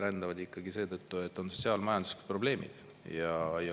Rändavad ikkagi seetõttu, et on sotsiaal-majanduslikud probleemid.